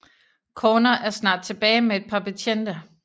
Corner er snart tilbage med et par betjente